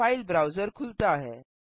file browser खुलता है